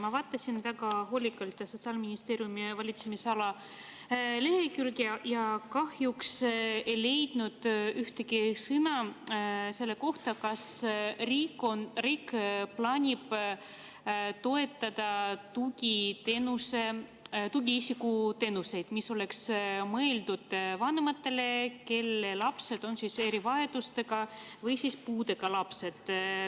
Ma vaatasin väga hoolikalt Sotsiaalministeeriumi valitsemisala lehekülge ja kahjuks ei leidnud ühtegi sõna selle kohta, kas riik plaanib toetada tugiisikuteenuseid, mis on mõeldud vanematele, kelle lapsed on erivajadustega või puudega.